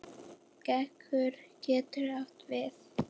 Gaukur getur átt við